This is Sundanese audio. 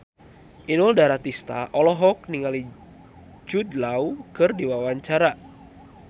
Inul Daratista olohok ningali Jude Law keur diwawancara